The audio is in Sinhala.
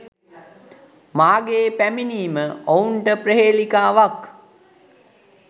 මාගේ පැමිණීම ඔවුන්ට ප්‍රහේලිකාවක්